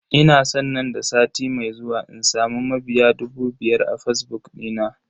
Ina san nan da sati mai zuwa in samu mabiya dubu biyar a fazbuk dina.